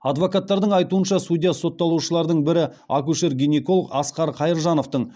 адвокаттардың айтуынша судья сотталушылардың бірі акушер гинеколог асқар қайыржановтың